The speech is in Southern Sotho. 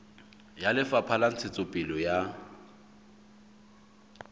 ya lefapha la ntshetsopele ya